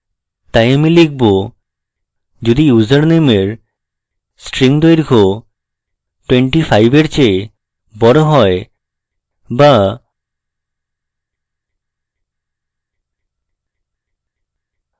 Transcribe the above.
তাই আমি লিখবযদি ইউসারনেমের string দৈর্ঘ্য 25 এর চেয়ে বড় হয় so